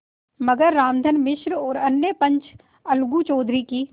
मगर रामधन मिश्र और अन्य पंच अलगू चौधरी की